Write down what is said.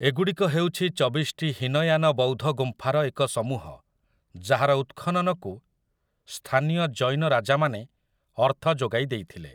ଏଗୁଡ଼ିକ ହେଉଛି ଚବିଶଟି ହୀନୟାନ ବୌଦ୍ଧ ଗୁମ୍ଫାର ଏକ ସମୂହ ଯାହାର ଉତ୍‌ଖନନକୁ ସ୍ଥାନୀୟ ଜୈନ ରାଜାମାନେ ଅର୍ଥ ଯୋଗାଇ ଦେଇଥିଲେ ।